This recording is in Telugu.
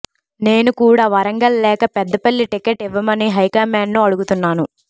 నేను కూడా వరంగల్ లేక పెద్దపల్లి టికెట్ ఇవ్వమని హైకమాండ్ ను అడుగుతున్నాను